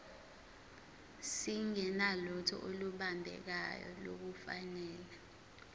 singenalutho olubambekayo nolufanele